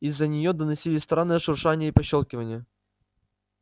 из-за неё доносилось странное шуршание и пощёлкивание